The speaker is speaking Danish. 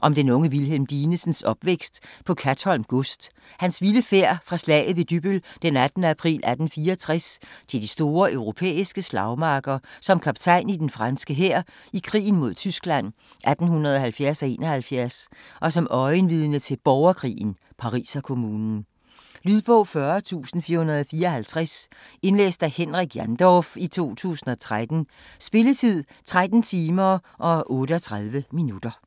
Om den unge Wilhelm Dinesens opvækst på Katholm Gods, hans vilde færd fra slaget ved Dybbøl den 18. april 1864 til de store europæiske slagmarker som kaptajn i den franske hær i krigen mod Tyskland 1870-1871 og som øjenvidne til borgerkrigen, Pariserkommunen. Lydbog 40454 Indlæst af Henrik Jandorf, 2013. Spilletid: 13 timer, 38 minutter.